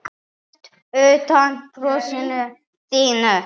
Mest undan brosinu þínu.